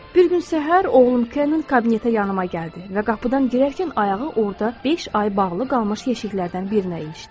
Bir gün səhər oğlum Ken kabinetə yanıma gəldi və qapıdan girərkən ayağı orada beş ay bağlı qalmış yeşiklərdən birinə ilişdi.